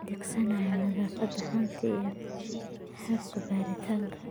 adeegsanayo nadaafadda haanta iyo qalabka baaritaanka.